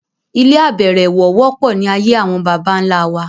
Ilé abẹ̀rẹ̀wọ̀ wọ́pọ̀ ní ayé àwọn bàbà ńlá wa